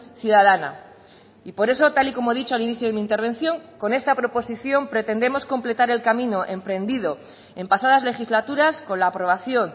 ciudadana y por eso tal y como he dicho al inicio de mi intervención con esta proposición pretendemos completar el camino emprendido en pasadas legislaturas con la aprobación